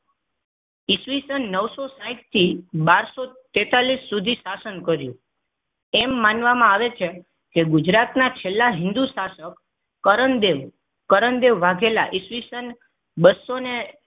ઈસવીસન નવસો સાઇઠ થી બારસો તેતાલિશ સુધી શાસન કર્યું. એમ માનવામાં આવે છે. કે ગુજરાતના છેલ્લા હિન્દુ શાસકો કરણદેવ કરણદેવ વાઘેલા ઈસવીસન બસો ને